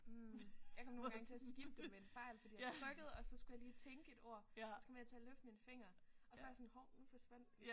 Mh jeg kom nogle gange til at skippe dem ved en fejl fordi jeg trykkede og så skulle jeg lige tænke et ord og så kom jeg til at løfte min finger og så var jeg sådan hov nu forsvandt den